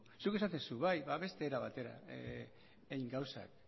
zuk esaten duzu bai ba beste era batera egin gauzak